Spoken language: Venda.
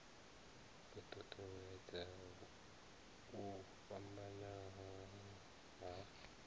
u ṱuṱuwedza u fhambana ha